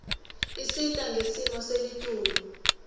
isita ngesimo selitulu